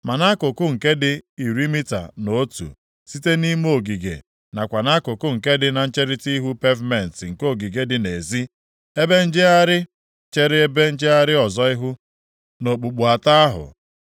Ma nʼakụkụ nke dị iri mita na otu, site nʼime ogige nakwa nʼakụkụ nke dị na ncherita ihu pevumentị nke ogige dị nʼezi, ebe njegharị chere ebe njegharị ọzọ ihu, nʼokpukpu atọ ahụ.